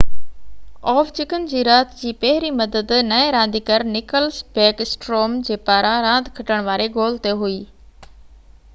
Ovechkin جي رات جي پهرين مدد نئين رانديگر نڪلس بيڪ اسٽروم جي پاران راند کٽڻ واري گول تي هئي